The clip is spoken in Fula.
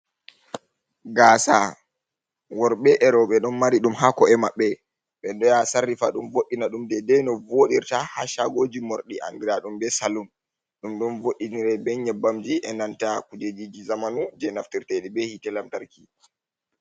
Gaasa worbe e roɓe ɗon mari ɗum ha ko’e maɓɓe, ɓe ɗo yaha sarrifa ɗum voddina ɗum dedai no vodirta ha chagoji morɗi, angra ɗum be salum ɗum ɗon voddinirai be nyebbamji e nanta kujejiji zamanu je naftirtedi be hite lamtarki.